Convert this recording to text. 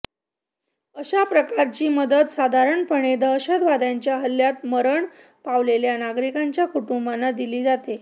अशा प्रकारची मदत साधारणपणे दहशतवाद्यांच्या हल्ल्यांत मरण पावलेल्या नागरिकांच्या कुटुंबाना दिली जाते